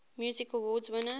music awards winners